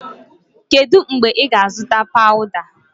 Kedu mgbe ị ga-azụta pawuda?